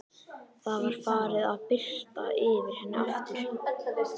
Það var farið að birta yfir henni aftur.